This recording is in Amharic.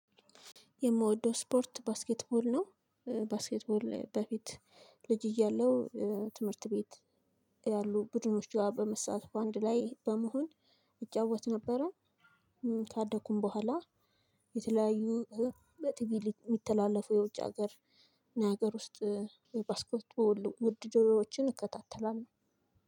የምወደው ስፖርት ባስኬትቦል ነው። ባስኬትቦል በፊት ልጅ እያለው ትምህርት ቤት ያሉ ቡድኖችጋ በመስራት በአንድ ላይ በመሆን እጫወት ነበረ። ካደኩም በኋላ የተለያዩ በጥብቅ የሚተላለፉ የውጭ ሀገር እና ሀገር ውስጥ ባስኬት ውድድሮዎችን እከታተላለሁ።